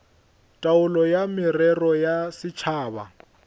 taolo ya merero ya setšhaba